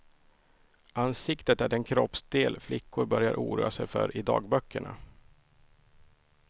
Ansiktet är den kroppsdel flickor börjar oroa sig för i dagböckerna.